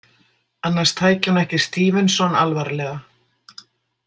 Annars tæki hún ekki STEVENSON alvarlega.